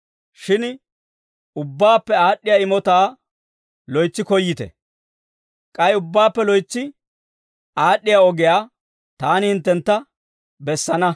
Shin ubbaappe aad'd'iyaa imotaa loytsi koyyite. K'ay ubbaappe loytsi aad'd'iyaa ogiyaa taani hinttentta bessana.